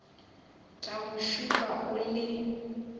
tla go šupa o le